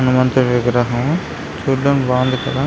హనుమంతుడి విగ్రహం చూడ్డానికి బాగుంది కదా.